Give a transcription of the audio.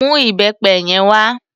Mú ìbẹpẹ yẹn wá.